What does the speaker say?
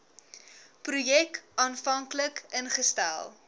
projek aanvanklik ingestel